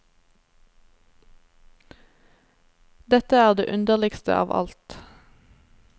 Dette er det underligste av alt.